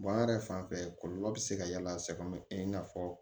yɛrɛ fanfɛ kɔlɔlɔ bɛ se ka y'a la sɛgɛn bɛ i n'a fɔ